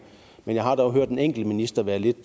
jeg har dog hørt en enkelt minister være lidt